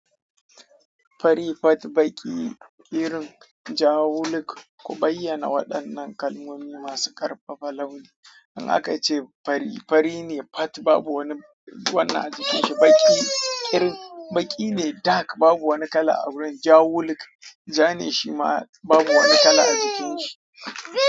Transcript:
Fari, fat, baki, kirin, ja, wuluk. Ku bayyana waɗannan kalmomi masu ƙarfafa launi. In aka ace fari, fari ne fat babu wani wannan a jikin shi. Baki kirin, baki ne dak babu wani kala a wurin. Ja wuluk, ja ne shi ma babu wani kala a jikin shi.